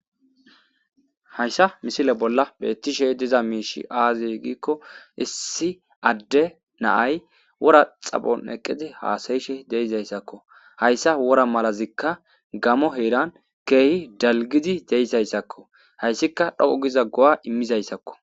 hayssa misile bolla bettishe diza miishi aaze giikko issi adde na'ay wora xaphphon eqqidi haasayishe de'izayssakko hayssa wora malazikka gamo heeran ke'hi dalggidi de'isayssakko hayssikka dhoqu giza go'a imizayssakko